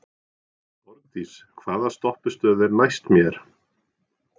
Borgdís, hvaða stoppistöð er næst mér?